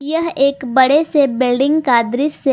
यह एक बड़े से बिल्डिंग का दृश्य।